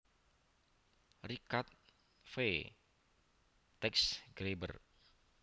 Richard F Teichgraeber